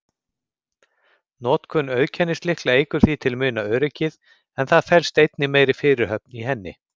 Notkun auðkennislykla eykur því til muna öryggið, en það felst einnig meiri fyrirhöfn í henni.